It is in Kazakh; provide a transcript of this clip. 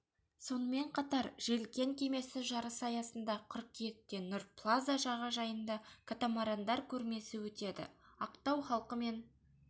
сонымен қатар желкен кемесі жарысы аясында қыркүйекте нұр плаза жағажайында катамарандар көрмесі өтеді ақтау халқы мен